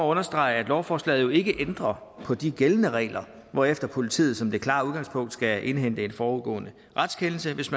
understrege at lovforslaget jo ikke ændrer på de gældende regler hvorefter politiet som det klare udgangspunkt skal indhente en forudgående retskendelse hvis